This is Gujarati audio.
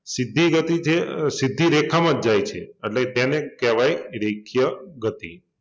સીધી ગતિ છે અમ સીધી રેખામાં જ જાય છે એટલે એને કેવાય રેખીય ગતિ